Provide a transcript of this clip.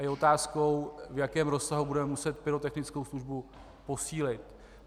A je otázkou, v jakém rozsahu budeme muset pyrotechnickou službu posílit.